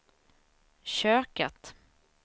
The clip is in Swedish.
köket